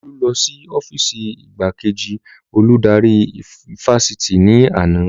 Olú lọ sí ọ́fììsì igbákejì olùdarí ifásitì ní àná